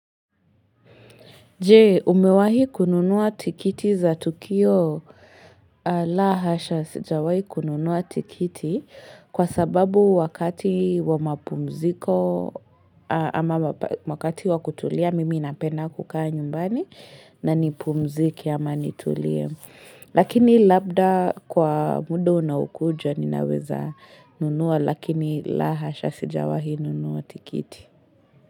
Je, umewahi kununuwa tikiti za Tukio la hasha sijawahi kununua tikiti kwa sababu wakati wa mapumziko ama wakati wa kutulia mimi napenda kukaa nyumbani na nipumzike ama nitulie. Lakini labda kwa muda unaokuja ninaweza nunua lakini la hasha sijawahi nunua tikiti.